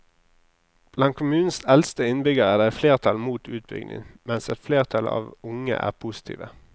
Blant kommunens eldste innbyggere er det et flertall mot utbygging, mens et flertall av unge er positive.